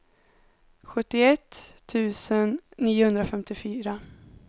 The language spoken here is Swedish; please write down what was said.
sjuttioett tusen niohundrafemtiofyra